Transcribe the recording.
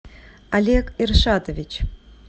олег иршатович